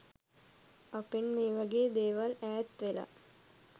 අපෙන් මේවගේ දේවල් ඈත්වෙලා